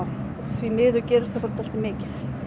því miður gerist það bara dálítið mikið